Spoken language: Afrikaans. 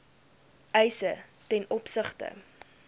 eise ten opsigte